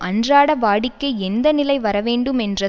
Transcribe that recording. அன்றாட வாடிக்கை எந்த நிலை வரவேண்டும் என்ற